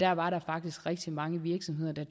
har var der faktisk rigtig mange virksomheder der